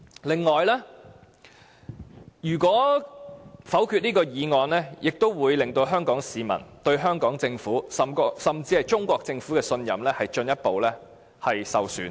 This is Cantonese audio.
另外，如果否決這項議案，也會令香港市民對香港政府甚至中國政府的信任進一步受損。